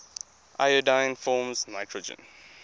iodine forms nitrogen